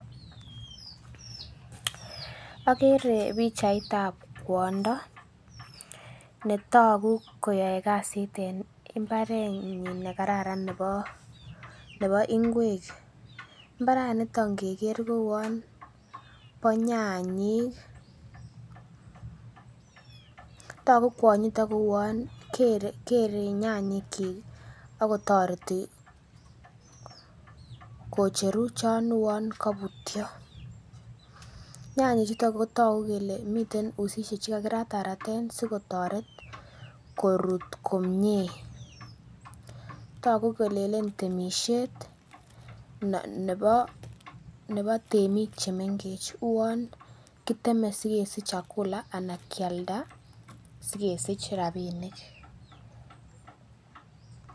Okere pichaitab kwondo netogu koyoe kasit en mbarenyin nekararan nebo nebo ingwek mbaraniton ngeker ko uon bo nyanyik. Togu kwonyiton kouon kere nyanyik kyik akotoreti kocheru chon uon kobutyo. Nyanyik chuton kotoku kele miten usisiek chekakirataraten sikotoret korut komie, togu kolelen temisiet nebo nebo temiik chemengech uon kiteme sikesich chakula anan kialda sikesich rapinik